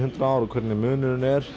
hundrað ár og hver munurinn er